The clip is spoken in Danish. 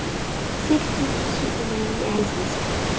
seks tusind syv hundrede og nioghalvtreds